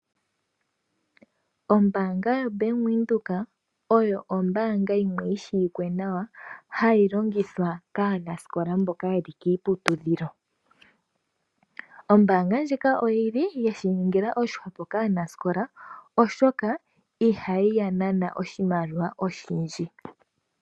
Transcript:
Ombaanga yaVenduka oyo ombaanga yimwe yi shiwike nawa hayi longithwa kaanasikola mboka yeli kiiputudhilo. Ombaanga ndjika oyili yeshi ningila oshihwepo kaanasikola oshoka ihayi ya nana oshimaliwa oshindji.